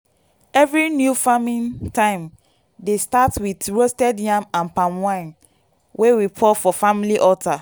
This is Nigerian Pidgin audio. every new farming time dey start with roasted yam and palm wine wey we pour for family altar.